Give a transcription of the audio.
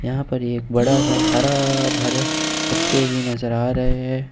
यहां पर एक बड़ा सा हरा भरा पत्ते भी नजर आ रहे हैं।